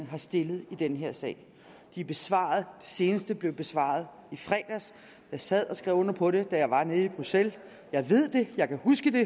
har stillet i den her sag de er besvaret seneste blev besvaret i fredags jeg sad og skrev under på det da jeg var nede i bruxelles jeg ved det jeg kan huske det